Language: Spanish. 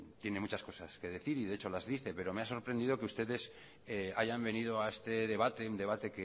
tiene muchas cosas que decir y de hecho las dice pero me ha sorprendido que ustedes hayan venido a este debate un debate